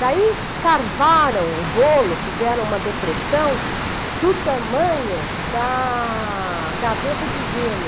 Daí carvaram o bolo, fizeram uma depressão do tamanho da gaveta de gelo.